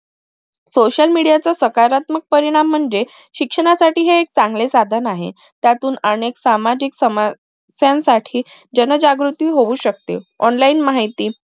social media चा सकारात्मक परिणाम म्हणजे शिक्षणासाठी हे एक चांगले साधन आहे त्यातून अनेक सामाजिक समज सणसाठी जनजागृती होऊ शकते online माहिती